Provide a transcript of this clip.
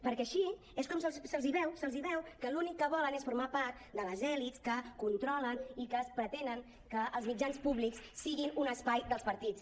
perquè així és com se’ls veu se’ls veu que l’únic que volen és formar part de les elits que controlen i que pretenen que els mitjans públics siguin un espai dels partits